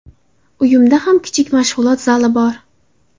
Uyimda ham kichik mashg‘ulot zali bor.